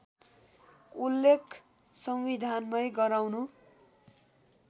उल्लेख संविधानमै गराउनु